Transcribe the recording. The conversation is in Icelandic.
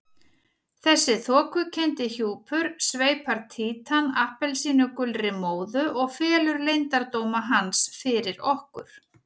Þessi þokukenndi hjúpur sveipar Títan appelsínugulri móðu og felur leyndardóma hans fyrir okkur.